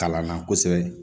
Kalan na kosɛbɛ